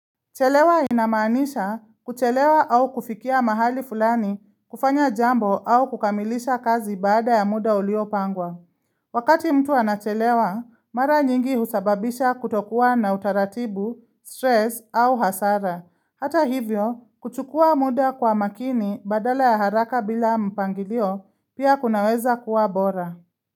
Chelewa inamaanisha kuchelewa au kufikia mahali fulani kufanya jambo au kukamilisha kazi baada ya muda uliopangwa. Wakati mtu anachelewa, mara nyingi husababisha kutokuwa na utaratibu, stress au hasara. Hata hivyo, kuchukua muda kwa makini badala ya haraka bila mpangilio pia kunaweza kuwa bora.